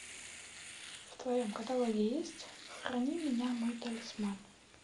в твоем каталоге есть храни меня мой талисман